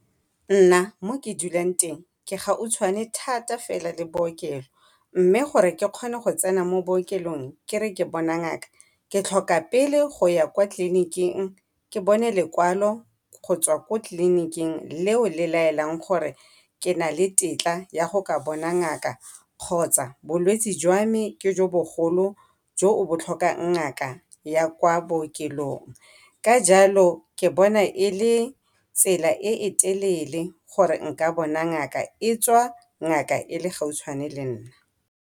Nna mo ke dulang teng ke gautshwane thata fela le bookelo, mme gore ke kgone go tsena mo bookelong ke re ke bona ngaka, ke tlhoka pele go ya kwa tleliniking ke bona lekwalo go tswa kwa tleliniking leo le laelang gore ke na le tetla ya go ka bona ngaka kgotsa bolwetsi jwa me ke jo bogolo jo bo tlhokang ngaka ya kwa bookelong. Ka jalo ke bona e le tsela e e telele gore nka bona ngaka e tswa ngaka e le gautshwane lenna.